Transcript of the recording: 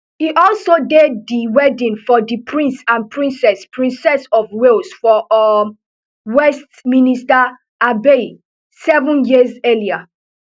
e also dey di wedding of di prince and princess princess of wales for um westminister abbey seven years earlier